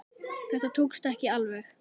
Þetta tókst ekki alveg.